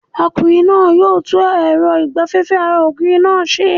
Ọkùnrin náà yóò tún èrọ ìgbaféfé ara ògiri náà se